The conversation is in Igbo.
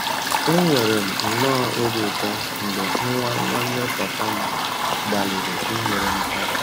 Enwere m nnọọ obi ụtọ mgbe nwa nwanne papa m gbalịrị inyere m aka.